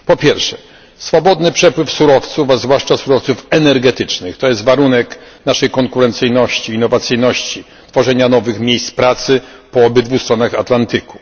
Po pierwsze, swobodny przepływ surowców, a zwłaszcza surowców energetycznych, to jest warunek naszej konkurencyjności, innowacyjności, tworzenia nowych miejsc pracy po obydwu stronach Atlantyku.